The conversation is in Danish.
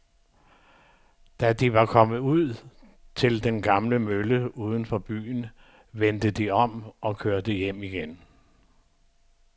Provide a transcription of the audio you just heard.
Da de var kommet ud til den gamle mølle uden for byen, vendte de om og kørte hjem igen.